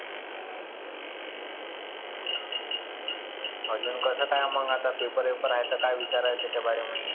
आजुन कसं काय मग आता paper गिपर आहे तर काय विचार आहे त्याच्या बार्यामध्ये?